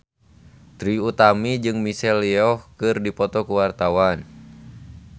Trie Utami jeung Michelle Yeoh keur dipoto ku wartawan